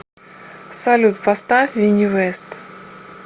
салют поставь винни вест